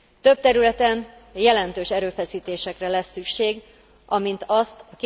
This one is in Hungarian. Több területen jelentős erőfeszítésekre lesz szükség, amint azt a